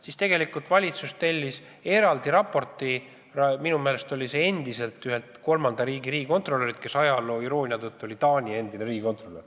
Siis valitsus tellis eraldi raporti ühelt kolmanda riigi eksperdilt, kes ajaloo iroonia tõttu oli Taani endine riigikontrolör.